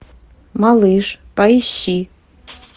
малыш поищи